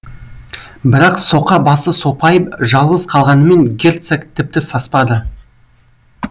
бірақ соқа басы сопайып жалғыз қалғанымен герцог тіпті саспады